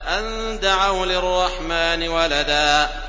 أَن دَعَوْا لِلرَّحْمَٰنِ وَلَدًا